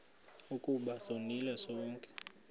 ukuba sonile sonke